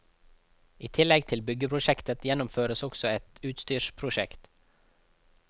I tillegg til byggeprosjektet, gjennomføres også et utstyrsprosjekt.